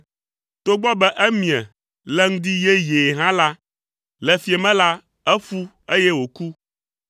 Togbɔ be emie le ŋdi yeyee hã la, le fiẽ me la, eƒu, eye wòku.